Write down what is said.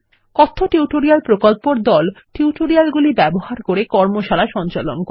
কথ্য টিউটোরিয়াল প্রকল্প দল টিউটোরিয়াল গুলি ব্যবহার করে কর্মশালা সঞ্চালন করে